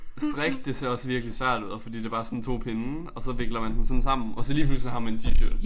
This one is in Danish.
Strik det ser også virkelig ud og fordi det bare sådan 2 pinde og så vikler man dem sådan sammen og så lige pludselig har man en t-shirt